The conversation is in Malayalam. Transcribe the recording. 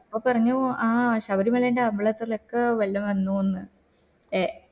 അപ്പൊ പറഞ്ഞു ആഹ് ശബരിമളൻറെ അമ്പലത്തിലൊക്ക വെള്ളം വന്നൂന്ന് ഏ